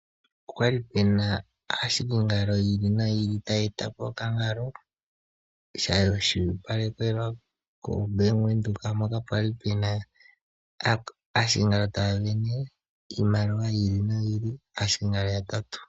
Opwa li pu na aahiki yi ili noyi ili taya eta po okangalo, yeshi uvanekelwa koBank Windhoek mokale ke na aahikingalo taya wini iimaliwa yi ili noyi ili, aahikingalo yatatu.